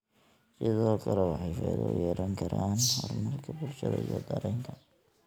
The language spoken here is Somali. Sidoo kale, waxay faa'iido u yeelan karaan horumarka bulshada iyo dareenka.